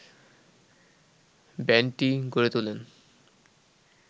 ব্যান্ডটি গড়ে তোলেন